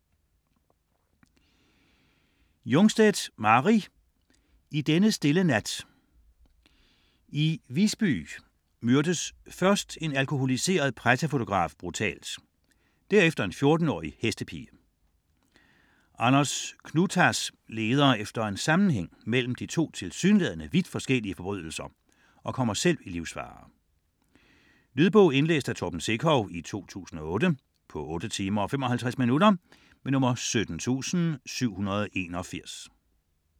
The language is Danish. Jungstedt, Mari: I denne stille nat I Visby myrdes først en alkoholiseret pressefotograf brutalt, derefter en 14-årig hestepige. Anders Knutas leder efter en sammenhæng mellem de to tilsyneladende vidt forskellige forbrydelser og kommer selv i livsfare. Lydbog 17781 Indlæst af Torben Sekov, 2008. Spilletid: 8 timer, 55 minutter.